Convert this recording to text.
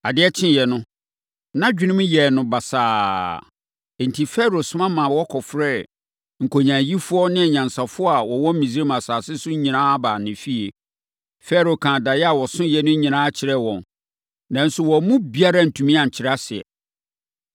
Adeɛ kyeeɛ no, nʼadwenem yɛɛ no basaa. Enti, Farao soma ma wɔkɔfrɛɛ nkonyaayifoɔ ne anyansafoɔ a wɔwɔ Misraim asase so nyinaa baa ne fie. Farao kaa daeɛ a ɔsoeɛ no nyinaa kyerɛɛ wɔn, nanso wɔn mu biara antumi ankyerɛ aseɛ.